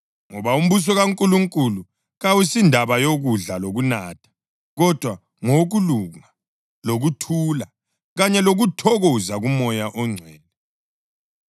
Ngoba umbuso kaNkulunkulu kawusindaba yokudla lokunatha, kodwa ngowokulunga, lokuthula kanye lokuthokoza kuMoya oNgcwele,